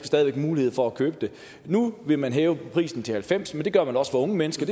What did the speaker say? stadig væk mulighed for at købe det nu vil man hæve prisen til halvfems kr men det gør man også for unge mennesker